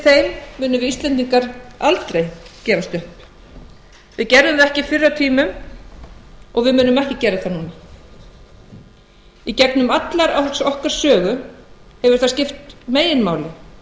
því munum við íslendingar aldrei gefast upp við gerðum það ekki fyrr á tímum og við munum ekki gera það núna í gegnum alla okkar sögu hefur það skipt meginmáli